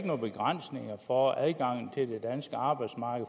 nogle begrænsninger for adgangen til det danske arbejdsmarked